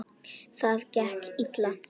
Það gekk illa.